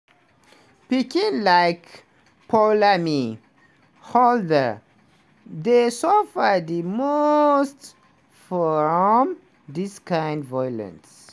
pikin like poulami halder dey suffer di most from dis kind violence.